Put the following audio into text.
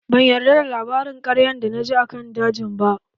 Ban yarda da labarin ƙaryar da na ji akan dajin ba